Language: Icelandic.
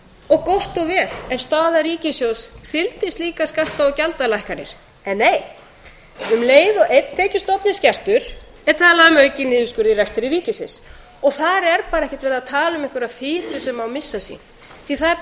og gott og vel ef staða ríkissjóðs þyldi slíkar skatta og gjaldalækkanir en nei um leið og einn tekjustofn er skertur er talað um aukinn niðurskurð í rekstri ríkisins og þar er bara ekkert verið að tala um einhverja fitu sem má missa sín því að það er búið